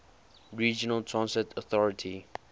regional transit authority